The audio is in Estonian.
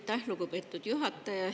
Aitäh, lugupeetud juhataja!